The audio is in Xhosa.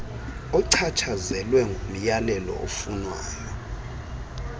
ochatshazelwa ngumyalelo ofunwayo